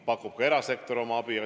Pakub ka erasektor oma abi.